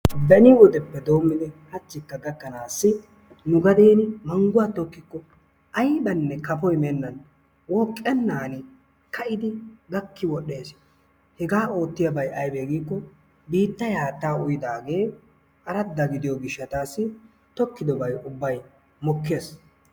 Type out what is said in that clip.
beni wodeppe doommidi haachchikka gakanaassi nu gadeen mangguwaa tokkiko aybanne kaafoy meennan wooqqenan kaa"idi gaakki wodhdhees. hegaa oottiyaabay aybee giikko biittay haattaa uuyidaagee aradda gidiyoo giishshatassi tokkidobay ubbay mokkees.